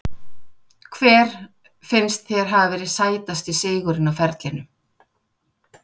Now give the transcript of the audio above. Hver finnst þér hafa verið sætasti sigurinn á ferlinum?